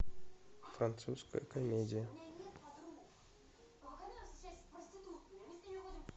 французская комедия